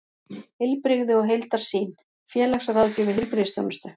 Heilbrigði og heildarsýn: félagsráðgjöf í heilbrigðisþjónustu.